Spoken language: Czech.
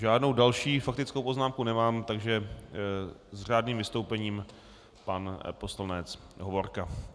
Žádnou další faktickou poznámku nemám, takže s řádným vystoupením pan poslanec Hovorka.